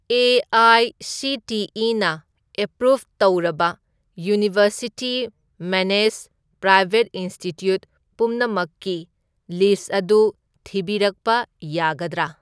ꯑꯦ.ꯑꯥꯏ.ꯁꯤ.ꯇꯤ.ꯏ.ꯅ approve ꯇꯧꯔꯕ university managed private institute ꯄꯨꯝꯅꯃꯛꯀꯤ list ꯑꯗꯨ ꯊꯤꯕꯤꯔꯛꯄ ꯌꯥꯒꯗ꯭ꯔꯥ?